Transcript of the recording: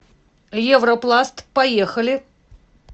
европласт поехали